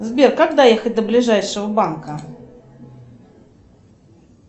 сбер как доехать до ближайшего банка